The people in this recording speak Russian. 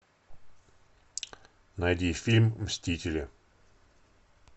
найди фильм мстители